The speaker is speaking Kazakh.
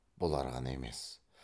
бұлар ғана емес